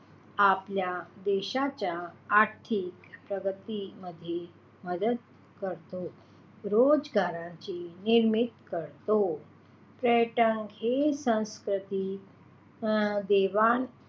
आपल्या देशाच्या आर्थिक प्रगतीमध्ये मदत करतो. रोजगाराची निर्मिती करतो पर्यटन हे सांस्कृतिक अं देवाण,